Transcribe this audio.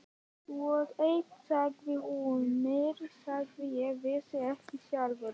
Og eitt sagði hún mér sem ég vissi ekki sjálfur.